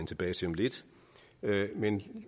tilbage til om lidt men